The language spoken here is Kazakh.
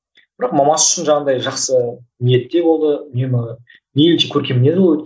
бірақ мамасы үшін жаңағыдай жақсы ниетте болды үнемі